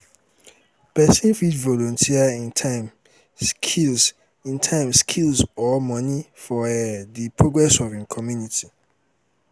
persin um fit um volunteer im time skills im time skills or money for um di progress of im community